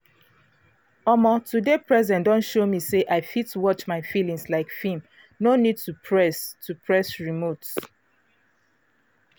omo to dey present don show me say i fit watch my feelings like film no need to press to press remote.